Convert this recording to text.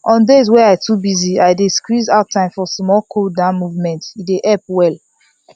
on days wey i too busy i still squeeze out time for small cooldown movement e dey help well